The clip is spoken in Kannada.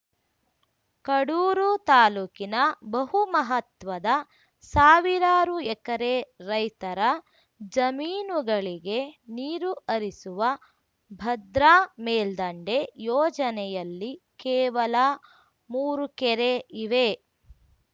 ಕಡೂರು ತಾಲೂಕಿನ ಬಹು ಮಹತ್ವದ ಸಾವಿರಾರು ಎಕರೆ ರೈತರ ಜಮೀನುಗಳಿಗೆ ನೀರು ಹರಿಸುವ ಭದ್ರಾ ಮೇಲ್ದಂಡೆ ಯೋಜನೆಯಲ್ಲಿ ಕೇವಲ ಮೂರು ಕೆರೆ ಇವೆ